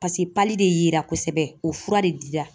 de yera kosɛbɛ o fura de dira